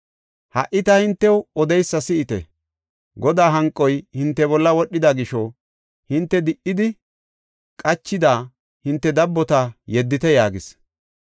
Ha77i ta hintew odeysa si7ite. Godaa hanqoy hinte bolla wodhida gisho hinte di77idi, qachida hinte dabbota yeddite” yaagis.